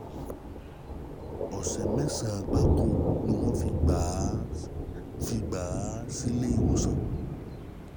Ọ̀sẹ̀ mẹ́sàn-án gbáko ni wọ́n fi gbà á fi gbà á sílé ìwòsàn